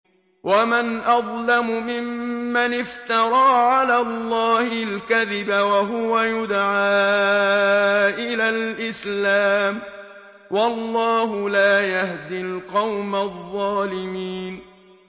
وَمَنْ أَظْلَمُ مِمَّنِ افْتَرَىٰ عَلَى اللَّهِ الْكَذِبَ وَهُوَ يُدْعَىٰ إِلَى الْإِسْلَامِ ۚ وَاللَّهُ لَا يَهْدِي الْقَوْمَ الظَّالِمِينَ